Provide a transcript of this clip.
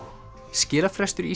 skilafrestur í